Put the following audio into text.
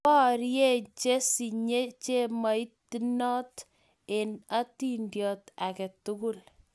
Borei chesinye chemoitnot eng' atindiot age tugul